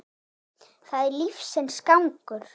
Það er lífsins gangur.